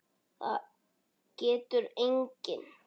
Það getur enginn.